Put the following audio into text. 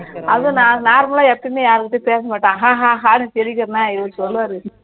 அது நான் normal லா எப்பயுமே யார்கிட்டயுமே ஹா ஹா ஹான்னு சிரிக்கிறேன்னா இவரு சொல்லுவாரு